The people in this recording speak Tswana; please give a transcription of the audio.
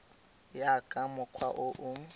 ya ka mokgwa o o